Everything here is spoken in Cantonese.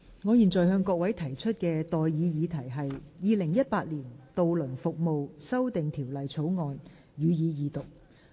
我現在向各位提出的待議議題是：《2018年渡輪服務條例草案》，予以二讀。